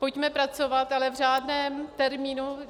Pojďme pracovat, ale v řádném termínu.